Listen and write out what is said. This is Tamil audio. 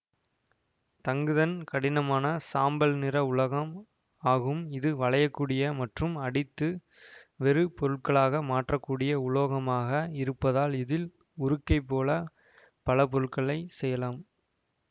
தங்குதன் கடினமான சாம்பல் நிற உலகம் ஆகும் இது வளையக்கூடிய மற்றும் அடித்து வேறு பொருட்களாக மாற்ற கூடிய உலோகமாக இருப்பதால் இதில் உருக்கைப்போல பல பொருட்களை செய்யலாம்